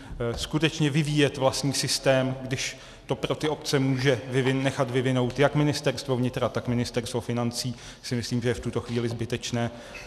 Skutečně vyvíjet vlastní systém, když to pro ty obce může nechat vyvinout jak Ministerstvo vnitra, tak Ministerstvo financí, si myslím, že je v tuto chvíli zbytečné.